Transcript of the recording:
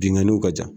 Binnkanniw ka ca